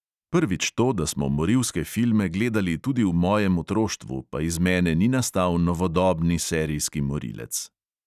Prvič to, da smo morilske filme gledali tudi v mojem otroštvu, pa iz mene ni nastal novodobni serijski morilec.